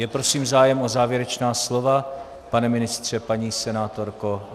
Je prosím zájem o závěrečná slova - pane ministře, paní senátorko?